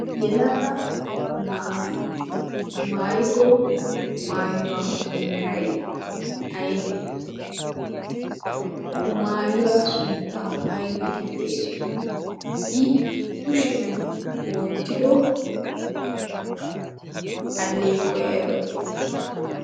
yelaga na7ay maayiddo maayuwaa meray aybbe? maayuwaa sunttaa aybba gi xeessiyo? i kushiyan wottido aleequwa aybba getettii?